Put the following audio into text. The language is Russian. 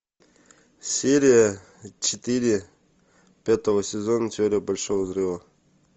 серия четыре пятого сезона теория большого взрыва